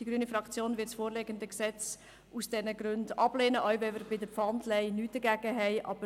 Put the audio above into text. Die grüne Fraktion wird das Gesetz aus diesen Gründen ablehnen, auch wenn wir bei der Pfandleihe nichts dagegen einzuwenden haben.